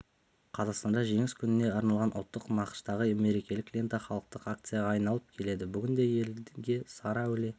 қазақстанда жеңіс күніне арналған ұлттық нақыштағы мерекелік лента халықтық акцияға айналып келеді бүгінде елге сары әулие